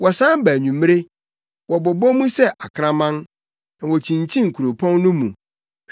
Wɔsan ba anwummere, wɔbobɔ mu sɛ akraman, na wokyinkyin kuropɔn no mu.